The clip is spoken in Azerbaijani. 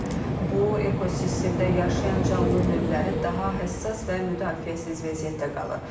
Nəticədə bu ekosistemdə yaşayan canlı növləri daha həssas və müdafiəsiz vəziyyətdə qalır.